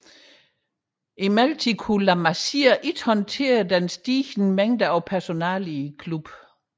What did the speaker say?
Imidlertid kunne La Masia ikke håndtere den støt stigende mængde af personale i klubben